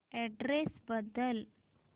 address बदल